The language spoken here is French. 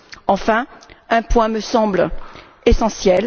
Enfin, un point me semble essentiel.